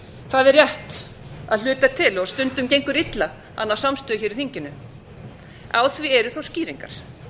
það er rétt að hluta til og stundum gengur illa að ná samstöðu í þinginu á því eru þó skýringar